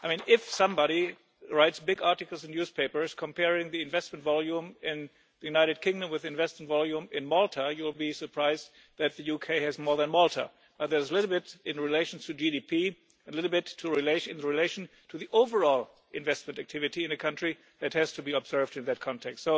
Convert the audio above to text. If somebody writes big articles in newspapers, comparing the investment volume in the United Kingdom with the investment volume in Malta, you will be surprised that the UK has more than Malta. There's a little bit in relation to GDP and a little bit in relation to the overall investment activity in a country that has to be observed in that context.